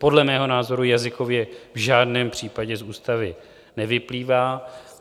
Podle mého názoru jazykově v žádném případě z ústavy nevyplývá.